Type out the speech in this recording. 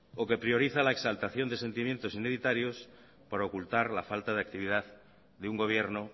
o que prioriza la exaltación de sentimientos para ocultar la falta de actividad de un gobierno